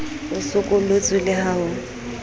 o sokolotswe le ha ho